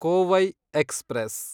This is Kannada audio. ಕೋವೈ ಎಕ್ಸ್‌ಪ್ರೆಸ್